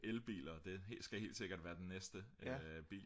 elbiler og det skal helt sikkert være den næste bil